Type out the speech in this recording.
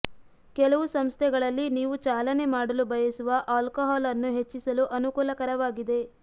ಕೆಲವು ಸಂಸ್ಥೆಗಳಲ್ಲಿ ನೀವು ಚಾಲನೆ ಮಾಡಲು ಬಯಸುವ ಆಲ್ಕೊಹಾಲ್ ಅನ್ನು ಹೆಚ್ಚಿಸಲು ಅನುಕೂಲಕರವಾಗಿದೆ